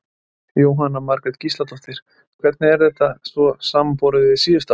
Jóhanna Margrét Gísladóttir: Hvernig er þetta svo samanborið við síðustu ár?